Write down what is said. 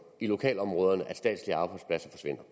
i lokalområderne at statslige arbejdspladser forsvinder